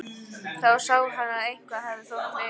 Þá sá hann að eitthvað hafði þó verið ræktað.